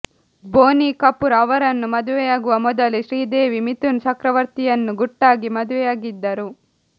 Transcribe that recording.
ಬೋನಿ ಕಪೂರ್ ಅವರನ್ನು ಮದುವೆಯಾಗುವ ಮೊದಲೇ ಶ್ರೀದೇವಿ ಮಿಥುನ್ ಚಕ್ರವರ್ತಿಯನ್ನು ಗುಟ್ಟಾಗಿ ಮದುವೆಯಾಗಿದ್ದರು